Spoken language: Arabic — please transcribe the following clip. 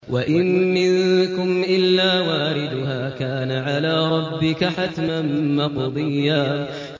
وَإِن مِّنكُمْ إِلَّا وَارِدُهَا ۚ كَانَ عَلَىٰ رَبِّكَ حَتْمًا مَّقْضِيًّا